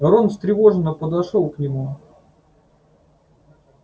рон встревоженно подошёл к нему